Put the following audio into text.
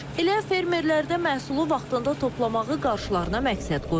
Elə fermerlər də məhsulu vaxtında toplamağı qarşılarına məqsəd qoyublar.